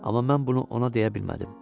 Amma mən bunu ona deyə bilmədim.